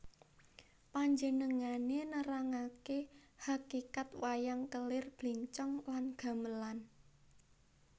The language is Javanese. Panjenengané nerangaké hakikat wayang kelir blencong lan gamelan